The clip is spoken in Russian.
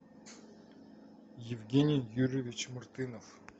евгений юрьевич мартынов